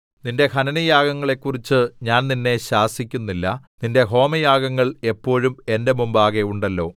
നിന്റെ ഹനനയാഗങ്ങളെക്കുറിച്ച് ഞാൻ നിന്നെ ശാസിക്കുന്നില്ല നിന്റെ ഹോമയാഗങ്ങൾ എപ്പോഴും എന്റെ മുമ്പാകെ ഉണ്ടല്ലോ